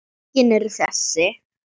Fylkin eru þessi